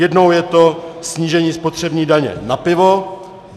Jednou je to snížení spotřební daně na pivo.